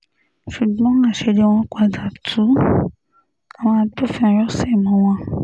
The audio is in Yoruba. ṣùgbọ́n àṣírí wọn padà tu àwọn agbófinró sí mú wọn